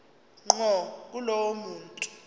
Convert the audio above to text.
ngqo kulowo muntu